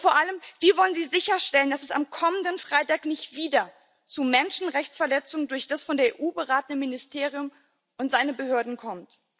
Und vor allem Wie wollen Sie sicherstellen, dass es am kommenden Freitag nicht wieder zu Menschenrechtsverletzungen durch das von der EU beratene Ministerium und seine Behörden kommt?